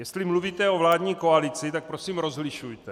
Jestli mluvíte o vládní koalici, tak prosím rozlišujte.